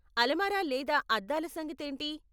అలమార లేదా అద్దాల సంగతేంటి?